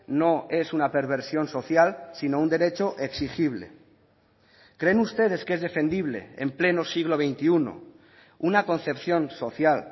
no es una perversión social sino un derecho exigible creen ustedes que es defendible en pleno siglo veintiuno una concepción social